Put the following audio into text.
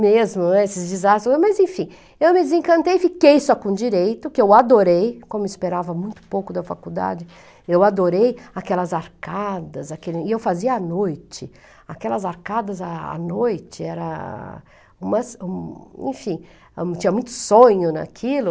mesmo esses desastres, mas enfim, eu me desencantei, fiquei só com direito, que eu adorei, como esperava muito pouco da faculdade, eu adorei aquelas arcadas, aquelas, e eu fazia à noite, aquelas arcadas à noite, era, umas, enfim, tinha muito sonho naquilo,